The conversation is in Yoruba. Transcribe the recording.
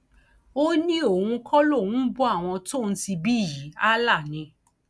ó ní òun kọ lòun ń bọ àwọn tóun ti bí yìí allah ni